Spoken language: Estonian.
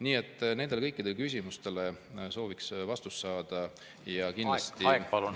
Nii et nendele kõikidele küsimustele sooviks vastust saada.